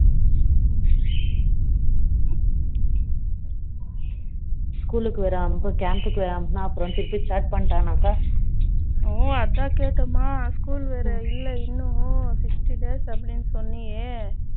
School க்கு வேற அனுப்பனும் camp க்கு வேற அனுப்பனும் அப்பறம் கிரிக்கெட் வேற ஸ்டார்ட் பண்ணிட்டானாக்கா ஓ அதான் கேட்டேன் school வேற இல்லை இன்னும் sixty days அப்படின்னு சொன்னையே